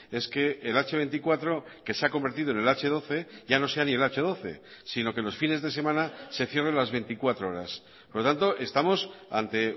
es que el hache veinticuatro que se ha convertido en el hache doce ya no sea ni el hache doce sino que los fines de semana se cierren las veinticuatro horas por lo tanto estamos ante